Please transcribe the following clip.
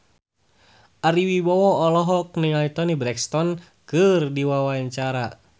Ari Wibowo olohok ningali Toni Brexton keur diwawancara